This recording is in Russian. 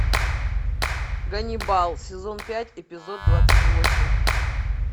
ганнибал сезон пять эпизод двадцать восемь